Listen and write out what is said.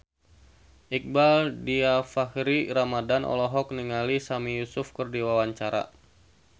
Iqbaal Dhiafakhri Ramadhan olohok ningali Sami Yusuf keur diwawancara